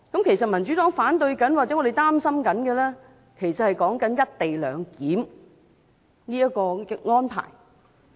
其實，民主黨反對或擔心的，是"一地兩檢"的安排。